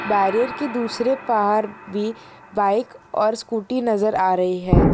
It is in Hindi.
बैरियर के दूसरे पार भी बाइक और स्कूटी नज़र आ रही है।